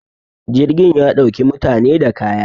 jirgin ya ɗauki mutane da kaya